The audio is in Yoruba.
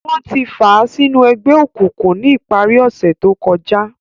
Wọn ti fàa sinu ẹgbẹ-ọkunkun ni ìpari ọsẹ to kọja.